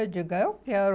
Eu digo, ah eu quero.